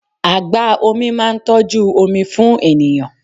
Agba-omi máa ń tọ́jú omi fún ènìyàn.